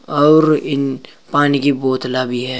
और इन पानी की बोतला भी है।